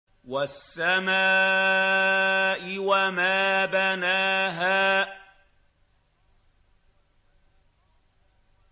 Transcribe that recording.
وَالسَّمَاءِ وَمَا بَنَاهَا